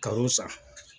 Kalo sa